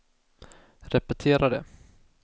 repetera det